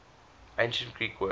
ancient greek word